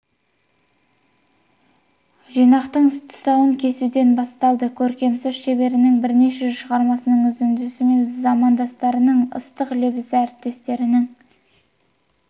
жинақтың тұсауын кесуден басталды көркем сөз шеберінің бірнеше шығармасының үзіндісі мен замандастарының ыстық лебізі әріптестерінің